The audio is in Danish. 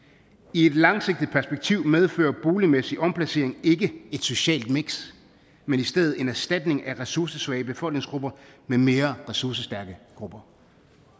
i et langsigtet perspektiv medfører boligmæssig omplacering ikke et socialt miks men i stedet en erstatning af ressourcesvage befolkningsgrupper med mere ressourcestærke grupper